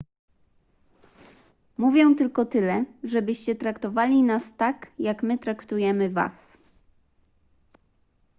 mówię tylko tyle żebyście traktowali nas tak jak my traktujemy was